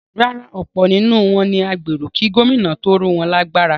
Rárá, ọ̀pọ̀ nínú wọn ni agbéró kí Gómìnà tó ró wọn lágbára.